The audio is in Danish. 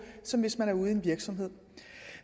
som hvis man er ude i en virksomhed